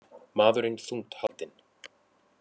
Maðurinn þungt haldinn